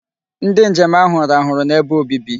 Ndi njem ahu rahuru n'ebe obibi